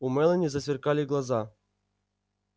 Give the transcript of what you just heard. у мелани засверкали глаза